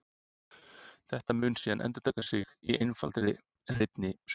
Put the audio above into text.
þetta mun síðan endurtaka sig í einfaldri hreinni sveiflu